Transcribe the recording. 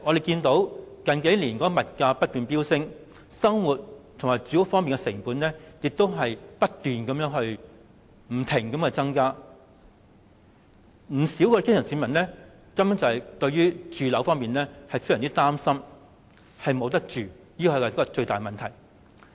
近數年的物價不斷飆升，市民生活的主要成本正不斷地增加，不少基層市民對住屋問題非常擔心，害怕沒有居住的地方，這是最大的問題。